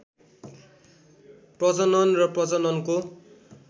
प्रजनन र प्रजननको